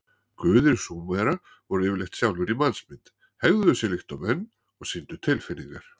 Guðir Súmera voru yfirleitt sjálfir í mannsmynd, hegðuðu sér líkt og menn og sýndu tilfinningar.